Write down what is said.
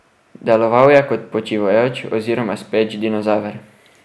Deloval je kot počivajoč oziroma speč dinozaver.